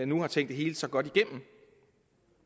nu har tænkt det hele så godt igennem